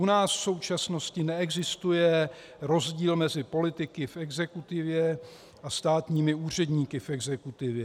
U nás v současnosti neexistuje rozdíl mezi politiky v exekutivě a státními úředníky v exekutivě.